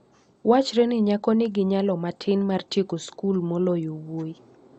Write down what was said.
wachre ni nyako nigi nyalo matin mar tieko skul moloyo wuowi.